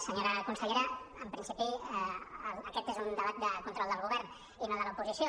senyor consellera en principi aquest és un debat de control del govern i no de l’oposició